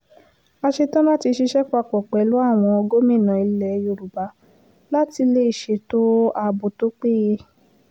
a ṣetán láti ṣiṣẹ́ papọ̀ pẹ̀lú àwọn gómìnà ilẹ̀ yorùbá láti lè ṣètò ààbò tó péye